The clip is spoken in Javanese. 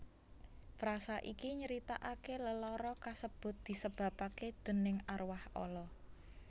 Frasa iki nyritaake lelara kasebut disebabke déning arwah ala